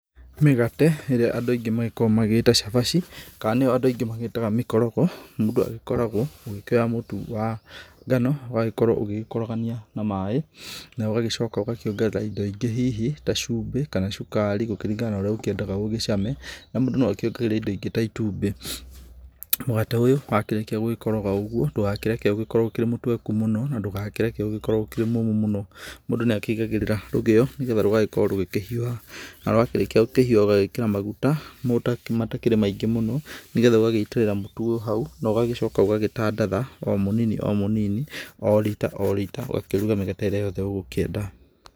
Mĩgate ĩrĩa andũ aingĩ makoragwo magĩgĩta cabaci kana nĩo andũ aingĩ magĩtaga mĩkorogo, mũndũ agĩkoragwo ũgĩkĩoya mũtu wa ngano ũgagĩkorwo ũgĩkorogania na maaĩ. Na ũgagĩcoka ũgakĩongerera indo ingĩ hihi ta cumbĩ kana cukari gũkĩringana na ũrĩa ũkĩendaga ũgĩcame, na mũndũ nĩ akĩongagĩrĩra indo ingĩ ta itumbĩ. Mũgate ũyũ wakĩrĩkia gũgĩkoroga ũguo ndugakĩreke ũkorwo ũrĩ mũtweku mũno na ndũkareke ũgĩkorwo ũrĩ mũmũ mũno. Mũndũ nĩ akĩigagĩrĩra rũgĩo, nĩgetha rũgĩkorwo rũkĩhiũha na rwakĩrĩkia gũkĩhiũha ũgagĩkĩra maguta matakĩrĩ maingĩ mũno. Nĩgetha ũgagĩitĩrĩra mũtu ũyũ hau na ũgagĩcoka ũgagĩtandatha o mũnini o mũnini o rita o rita, ũgakĩruga mĩgate ĩrĩa yothe ũgũkĩenda.